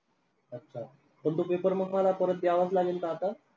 अच्छा. पण तो paper मग मला परत द्यावाच लागेल का आता?